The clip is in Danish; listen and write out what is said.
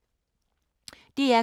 DR K